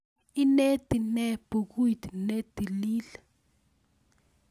Ineti nee bekuit ne tilil?